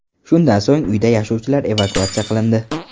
Shundan so‘ng uyda yashovchilar evakuatsiya qilindi.